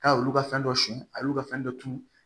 K'a y'olu ka fɛn dɔ sɛn a y'olu ka fɛn dɔ tun